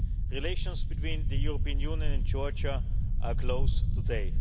Relations between the European Union and Georgia are close today.